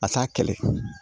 A t'a kɛlɛ